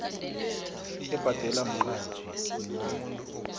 ebhadelwa mqatjhi nemali